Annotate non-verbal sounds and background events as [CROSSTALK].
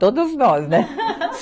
Todos nós, né? [LAUGHS]